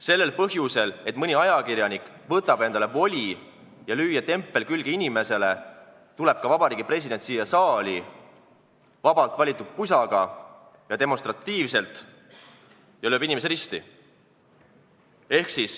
Sellel põhjusel, et mõni ajakirjanik võtab endale voli lüüa inimesele tempel külge, tuleb ka president siia saali vabalt valitud pusaga ja lööb demonstratiivselt inimese risti.